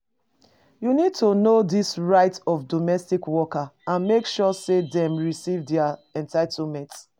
You need to know di right of domestic workers and make sure say dem receive dia entitlement.